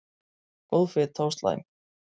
Góð fita og slæm